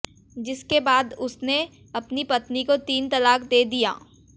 जिसके बाद उसने अपनी पत्नी को तीन तलाक दे दिया